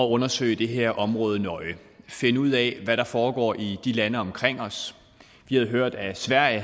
undersøge det her område nøje finde ud af hvad der foregår i landene omkring os vi havde hørt at sverige